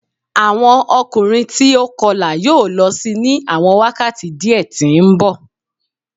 Awọn ọkunrin ti o kọla yoo lọ si ni awọn wakati diẹ ti nbọ